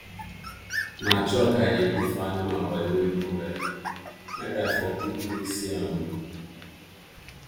na chalk i dey put for animal body wey no well make i for quick quick see am